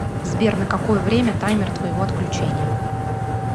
сбер на какое время таймер твоего отключения